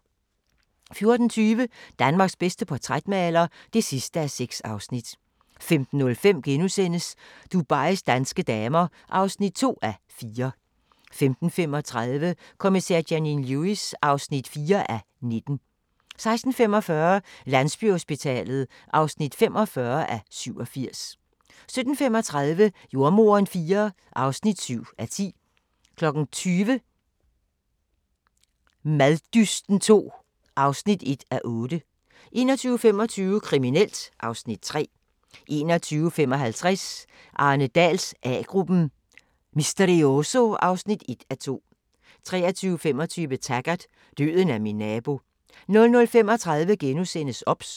14:20: Danmarks bedste portrætmaler (6:6) 15:05: Dubais danske damer (2:4)* 15:35: Kommissær Janine Lewis (4:19) 16:45: Landsbyhospitalet (45:87) 17:35: Jordemoderen IV (7:10) 20:00: Maddysten II (1:8) 21:25: Kriminelt (Afs. 3) 21:55: Arne Dahls A-gruppen: Misterioso (1:2) 23:25: Taggart: Døden er min nabo 00:35: OBS *